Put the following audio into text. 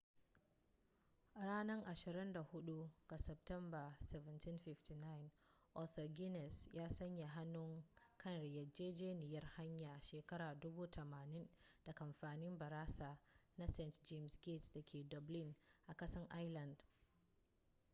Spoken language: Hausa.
ranar 24 ga satumba 1759 arthur guinness ya sanya hannu kan yarjejeniyar hayar shekara 9,000 da kamfanin barasa na st jame's gate da ke dublin a kasar ireland